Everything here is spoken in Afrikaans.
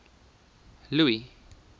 louis